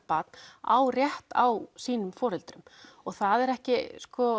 barn á rétt á sínum foreldrum það er ekki